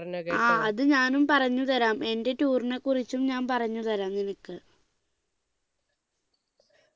ആ അത് ഞാനും പറഞ്ഞു തരാം എന്റെ tour നെ കുറിച്ചും ഞാൻ പറഞ്ഞു തരാം നിനക്ക്